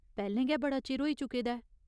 पैह्‌लें गै बड़ा चिर होई चुके दा ऐ।